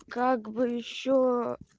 как бы ещё